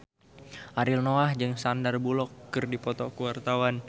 Ariel Noah jeung Sandar Bullock keur dipoto ku wartawan